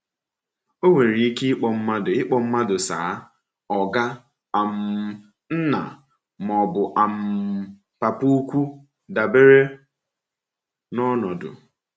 Enwere ike ịkpọ mmadụ ịkpọ mmadụ Sà, Oga, um Nna, ma ọ bụ um Papa-ukwu dabere na ọnọdụ.